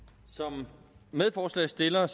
som medforslagsstillere